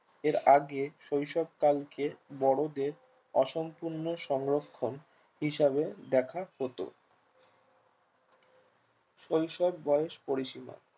এর আগে শৈশব কালকে বড়োদের অসম্পূর্ণ সংরক্ষণ হিসাবে দেখা হতো শৈশব বয়স পরিসীমা